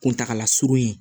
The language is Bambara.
Kuntagala surun ye